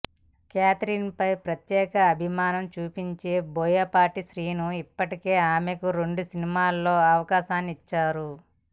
Catherine పై ప్రత్యేక అభిమానం చూపించే బోయపాటి శ్రీను ఇప్పటికే ఆమెకు రెండు సినిమాల్లో అవకాశాలిచ్చాడు